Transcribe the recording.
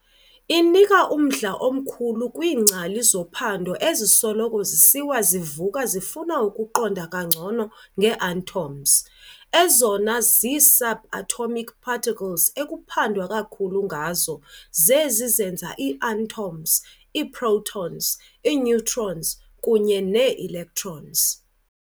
Inika umdla omkhulu kwiingcali zophando ezisoloko zisiwa zivuka zifuna ukuqonda kangcono ngee-atoms. Ezona zi-subatomic particles ekuphandwa kakhulu ngazo zezi zenza ii-atoms- ii-protons, ii-neutrons, kunye nee-electrons.